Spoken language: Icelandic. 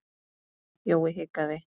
Jói hikaði.